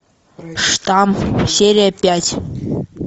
штамм серия пять